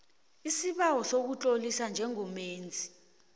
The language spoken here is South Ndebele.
isibawo sokuzitlolisa njengomenzi